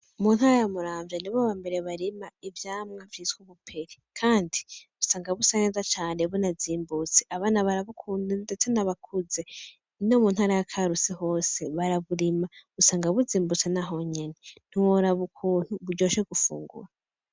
Mu ntara ya Muramvya nibo bambere barima ivyamwa vyitwa ubuperi, kandi usanga busa neza cane bunazimbutse abana barabukunda ndetse n'abakuze, no mu ntara ya Karusi hose baraburima usanga buzimbutse naho nyene ntiworaba ukuntu buryoshe gufugura.